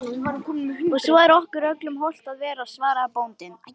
Og svo er okkur öllum hollt að vera, svaraði bóndinn.